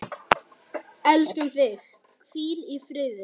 Elskum þig, hvíl í friði.